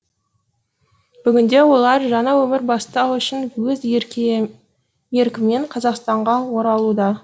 бүгінде олар жаңа өмір бастау үшін өз еркімен қазақстанға оралуда